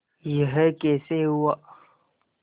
यह कैसे हुआ